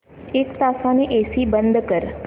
एक तासाने एसी बंद कर